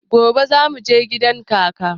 Gobe za mu je gidan kaka.